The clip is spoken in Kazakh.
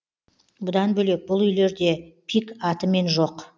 бұдан бөлек бұл үйлерде пик атымен жоқ